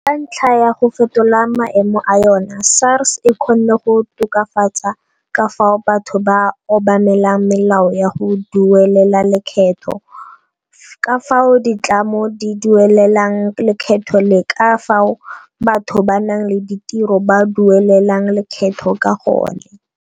Ka ntlha ya go fetola maemo a yona SARS e kgonne go tokafatsa ka fao batho ba obamelang melao ya go duelela lekgetho, ka fao ditlamo di duelelang lekgetho le ka fao batho ba ba nang le ditiro ba duelelang lekgetho ka gone.